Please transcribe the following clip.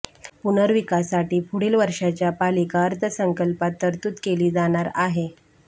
पुनर्विकासाठी पुढील वर्षाच्या पालिका अर्थसंकल्पात तरतूद केली जाणार आहे